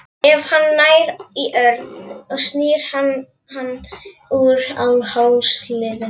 Ef hann nær í Örn snýr hann hann úr hálsliðnum.